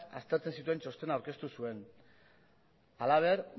aztertzen zituen txostena aurkeztu zuen halaber